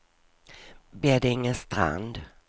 Beddingestrand